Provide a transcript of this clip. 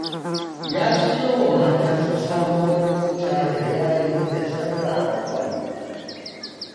Ya siyo wa matarsa sabuwar mota da yari da sarƙa na gwal.